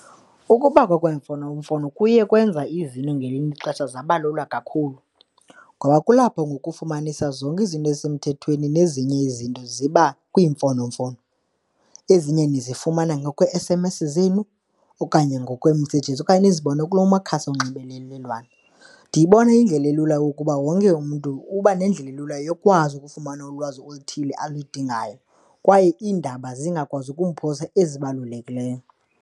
Ukubakho kweemfonomfono kuye kwenza izinto ngelinye ixesha zaba lula kakhulu ngoba kulapho ngoku ufumanisa zonke izinto ezisemthethweni nezinye izinto ziba kwiimfonomfono. Ezinye nizofumana ngokwe-S_M_S zenu okanye ngokwe-messages okanye nizibone kula makhasi onxibelelwano. Ndiyibona iyindlela elula ukuba wonke umntu uba nendlela elula yokwazi ukufumana ulwazi oluthile alidingayo kwaye iindaba zingakwazi ukumphosa ezibalulekileyo.